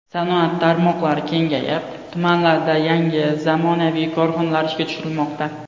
Sanoat tarmoqlari kengayib, tumanlarda yangi zamonaviy korxonalar ishga tushirilmoqda.